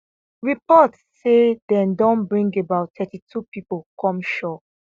reports say dem don bring about 32 pipo come shore